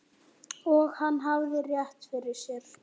Og hann hafði rétt fyrir sér.